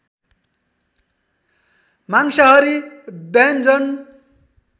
मांसहारी व्यन्जन